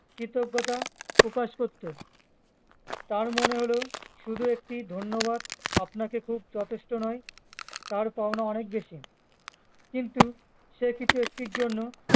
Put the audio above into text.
কৃতজ্ঞতা প্রকাশ করতো তার মনে হলো শুধু একটি ধন্যবাদ আপনাকে খুব যথেষ্ট নয় তার পাওনা অনেক বেশি কিন্তু সে কিছু একটির জন্য